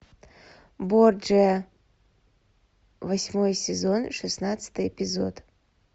борджиа восьмой сезон шестнадцатый эпизод